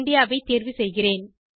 India ஐ தேர்வு செய்கிறேன்